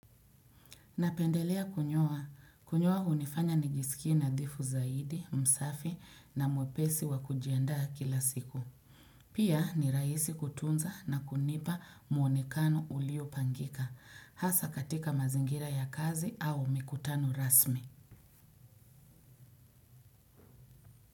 Napendelea kunyoa. Kunyoa hunifanya nijisikie nadhifu zaidi, msafi na mwepesi wa kujiandaa kila siku. Pia ni rahisi kutunza na kunipa muonekano uliopangika. Hasa katika mazingira ya kazi au mikutano rasmi.